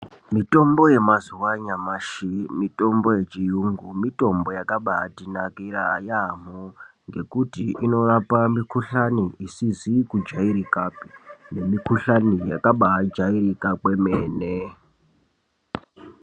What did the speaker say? Mitombo yemazuva anyamashi, mitombo yechiyungu, mitombo yakabatinakira yaamho ngekuti inorapa mukhuhlane isizi kujairikapi nemikhuhlani yakabaajairika kwemene.